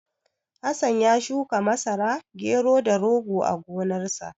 Hassan ya shuka Marasa, Gero, da Rogo a gonarsa.